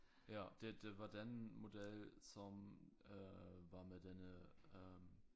Ja det det var den model som øh var med denne øh